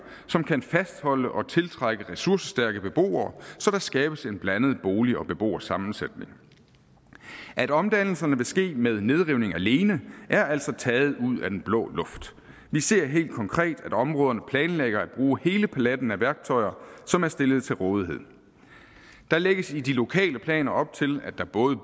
som kan fastholde og tiltrække ressourcestærke beboere så der skabes en blandet bolig og beboersammensætning at omdannelserne vil ske med nedrivninger alene er altså taget ud af den blå luft vi ser helt konkret at områderne planlægger at bruge hele paletten af værktøjer som er stillet til rådighed der lægges i de lokale planer op til at der både